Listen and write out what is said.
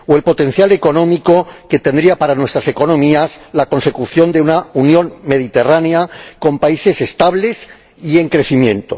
o el potencial económico que tendría para nuestras economías la consecución de una unión mediterránea con países estables y en crecimiento.